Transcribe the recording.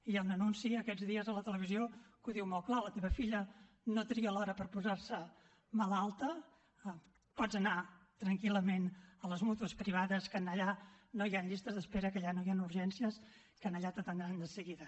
hi ha un anunci aquests dies a la televisió que ho diu molt clar la teva filla no tria l’hora per posar se malalta pots anar tranquil·lament a les mútues privades que allà no hi han llistes d’espera que allà no hi han urgències que allà t’atendran de seguida